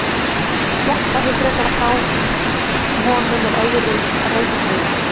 Þær sleppa því frekar frá honum en öðrum reikistjörnum.